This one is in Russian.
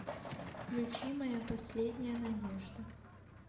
включи моя последняя надежда